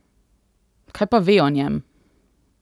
Kaj pa ve o njem?